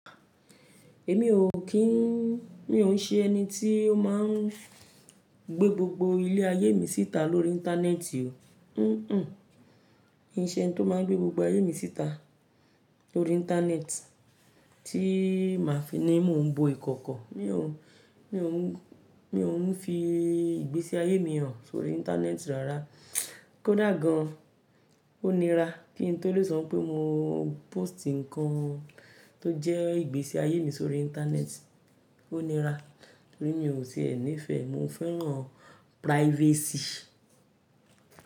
Èmi ò kí ń, mi ò ń ṣe ẹni tí ó máa ń gbé gbogbo ilé-ayé mi síta lórí íńtánẹ́ẹ̀tì o. Miì ń se ẹni tó máa ń gbé gbogbo ayé mi síta lórí íńtánẹ́ẹ̀tì tí màá fi ní mò ń bo ìkọ̀kọ̀. Mi ò, mi ò ń fi ìgbésí ayé mi hàn sórí íńtánẹ́ẹ̀tì rárá. Kódà gan-an, ó nira kí n tó lè sọ ńpé mo post nǹkan tó jẹ́ ìgbésí ayé mi sórí íńtánẹ́ẹ̀tì, ó nira torí mi ò tiẹ̀ nífẹ̀ẹ́ Mo fẹ́ràn privacy.